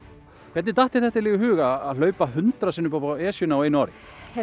hvernig datt þér þetta í hug að hlaupa hundrað sinnum upp á Esjuna á einu ári